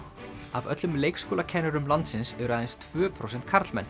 af öllum leikskólakennurum landsins eru aðeins tvö prósent karlmenn